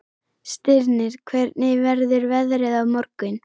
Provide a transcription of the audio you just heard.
Stirnir, hvernig verður veðrið á morgun?